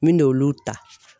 Me n'olu ta